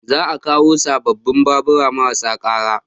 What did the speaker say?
Za a kawo sababbin babura marasa ƙara